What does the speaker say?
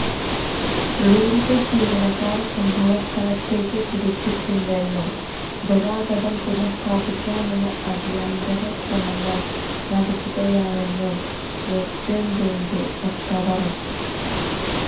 railway ജിവനക്കാര് സംഭവസ്ഥലത്തേക്ക് കുതിച്ചിട്ടുണ്ടെന്നും ഗതാഗതം പുനഃസ്ഥാപിക്കാനുള്ള അടിയന്തിര ശ്രമങ്ങള് നടക്കുകയാണെന്നും വെസ്റ്റേണ് റെയില്വേ വക്താവ് അറിയിച്ചു